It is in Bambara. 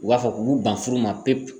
U b'a fɔ k'u ban furu ma pepu